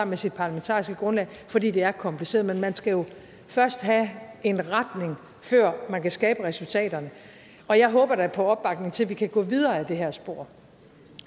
med sit parlamentariske grundlag fordi det er kompliceret men man skal jo først have en retning før man kan skabe resultaterne og jeg håber da på opbakning til at vi kan gå videre i det her spor